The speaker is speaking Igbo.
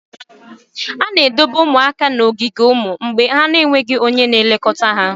A na-edobe ụmụaka n'ogige ụmụ mgbei mgbe ha na-enweghị onye na-elekọta ha.